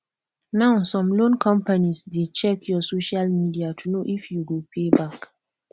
now some loan companies dey check your social media to know if you go pay back